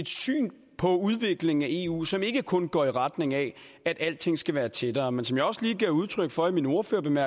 syn på udviklingen af eu som ikke kun går i retning af at alting skal være tættere men som jeg også lige gav udtryk for i min ordførertale